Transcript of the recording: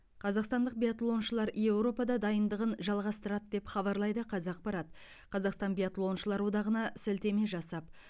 қазақстандық биатлоншылар еуропада дайындығын жалғастырады деп хабарлайды қазақпарат қазақстан биатлоншылар одағына сілтеме жасап